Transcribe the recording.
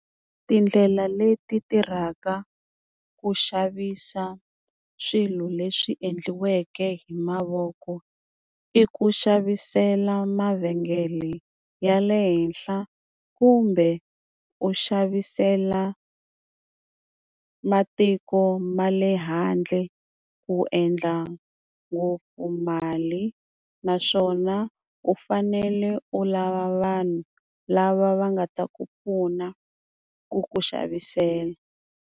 Tindlela leti tirhaka ku xavisa swilo leswi endliweke hi mavoko i ku xavisela mavengele ya le henhla kumbe u xavisela matiko ma le handle ku endla ngopfu mali naswona u fanele u lava vanhu lava va nga ta ku pfuna ku ku xavisela.